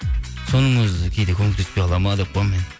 соның өзі кейде көмектеспей қалады ма деп қоямын мен